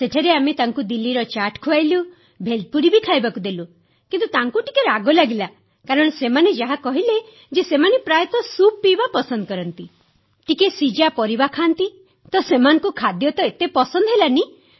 ସେଠାରେ ଆମେ ସେମାଙ୍କୁ ଦିଲ୍ଲୀର ଚାଟ୍ ଖୁଆଇଲୁ ଭେଲପୁରୀ ବି ଖୁଆଇଲୁ କିନ୍ତୁ ସେମାନଙ୍କୁ ଟିକେ ରାଗ ଲାଗିଲା କାରଣ ସେମାନେ ଯାହା କହିଲେ ଯେ ସେମାନେ ପ୍ରାୟତଃ ସୁପ୍ ପିଇବା ପସନ୍ଦ କରନ୍ତି ଟିକିଏ ସିଝା ପରିବା ଖାଆନ୍ତି ତ ସେମାନଙ୍କୁ ଖାଦ୍ୟ ତ ଏତେ ପସନ୍ଦ ହେଲାନାହିଁ